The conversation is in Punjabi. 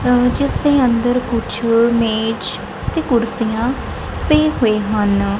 ਜਿੱਸ ਦੇ ਅੰਦਰ ਕੁੱਛ ਮੇਜ ਤੇ ਕੁਰਸੀਆਂ ਪਏ ਹੋਏ ਹਨ।